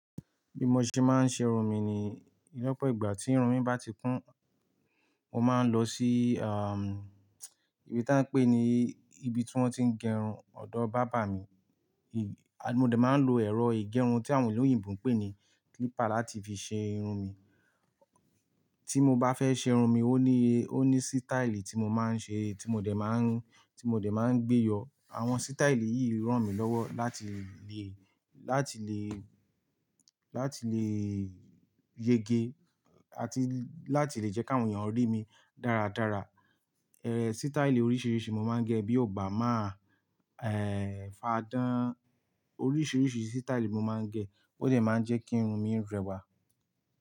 Bí mo ṣe máa ń ṣe irun mi ni, lọ́pọ̀ ìgbà tí irun mi bá ti kún, mo máa ń lọ sí, um, ibi tí wọ́n ń pè ní ibi tí wọ́n ti ń gẹ irun ọ̀dọ́ bàbá mi. Mo dẹ̀ máa ń lo ẹ̀rọ ìgẹrun tí àwọn ẹlòmíràn pè ní clipper láti fi ṣe irun mi. Tí mo bá fẹ́ ṣe irun mi, ó ní, ó ní sítáílì tí mo máa ń ṣe, tí mo dẹ̀ máa ń, tí mo dẹ̀ máa ń gbé yọ. Àwọn sítáílì yìí ràn mí lọ́wọ́ láti lè, láti lè, láti lè yege àti láti lè jẹ́ kí àwọn èèyàn rí mi dáradára. Ẹ̀, sítáílì oríṣiríṣi mo máa ń gẹ̀ bí Obàma, ẹ́, fadán. Oríṣiríṣi sítáílì mo máa ń gẹ̀ ó dẹ̀ máa ń jẹ́ kí irun mi rẹwà.